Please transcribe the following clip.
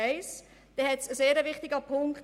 Dies zum ersten Punkt.